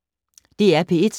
DR P1